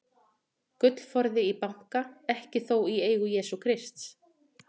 Gullforði í banka, ekki þó í eigu Jesú Krists.